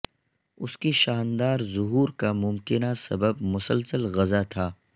اس کی شاندار ظہور کا ممکنہ سبب مسلسل غذا تھا